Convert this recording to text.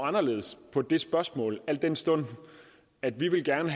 anderledes på det spørgsmål al den stund at vi gerne